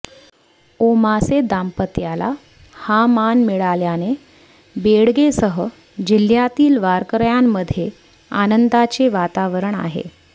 ओमासे दाम्पत्याला हा मान मिळाल्याने बेडगेसह जिल्हय़ातील वारकऱयांमध्ये आनंदाचे वातावरण आहे